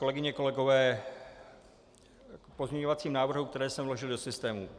Kolegyně, kolegové, k pozměňovacím návrhům, které jsem vložil do systému.